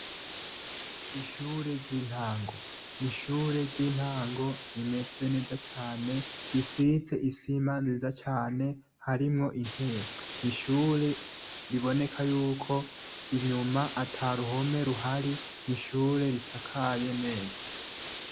Ishure ryintango n’ishure ryintango rimeze neza cane risize isima nziza hasi harimwo intebe n’ishure riboneka yuko inyuma ataruhome ruhari n’ishure risakaye neza.